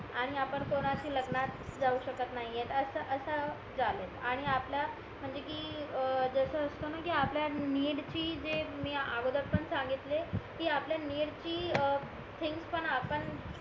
आणि आपण जाऊ शकत नाही असं झाले आणि आपला म्हणजे कि जस असतोना कि आपल्या निडची जे मी अगोदर पण सांगितले कि आपल्या नीड ची अं थिंग्स पण आपण